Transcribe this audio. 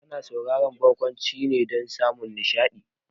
Ana sauraron barkwanci ne dan samun nishaɗi